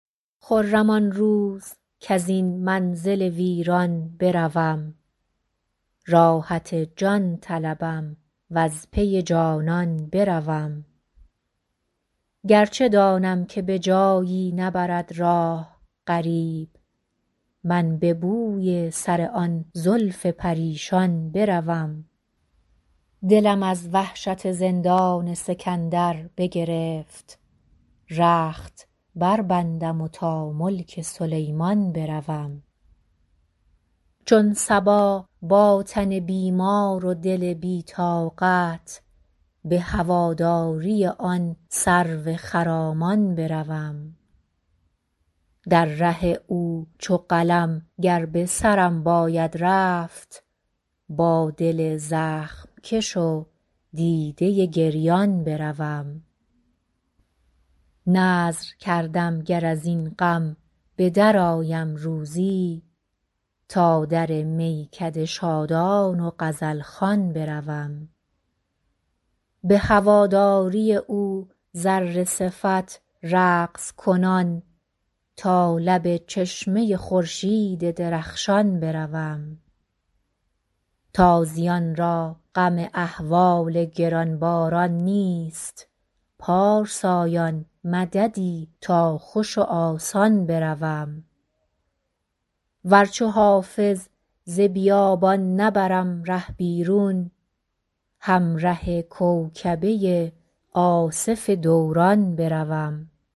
خرم آن روز کز این منزل ویران بروم راحت جان طلبم و از پی جانان بروم گر چه دانم که به جایی نبرد راه غریب من به بوی سر آن زلف پریشان بروم دلم از وحشت زندان سکندر بگرفت رخت بربندم و تا ملک سلیمان بروم چون صبا با تن بیمار و دل بی طاقت به هواداری آن سرو خرامان بروم در ره او چو قلم گر به سرم باید رفت با دل زخم کش و دیده گریان بروم نذر کردم گر از این غم به درآیم روزی تا در میکده شادان و غزل خوان بروم به هواداری او ذره صفت رقص کنان تا لب چشمه خورشید درخشان بروم تازیان را غم احوال گران باران نیست پارسایان مددی تا خوش و آسان بروم ور چو حافظ ز بیابان نبرم ره بیرون همره کوکبه آصف دوران بروم